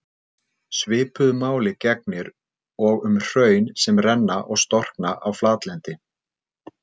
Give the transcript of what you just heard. Svipuðu máli gegnir og um hraun sem renna og storkna á flatlendi.